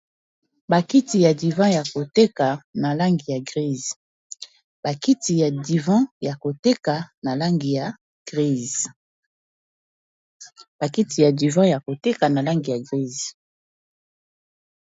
Bakiti ya divan yako teka na langi ya grise.